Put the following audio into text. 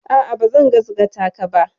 A'a, bazan gasgataka ba.